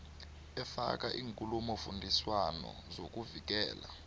efaka iinkulumofundiswano zokuvikela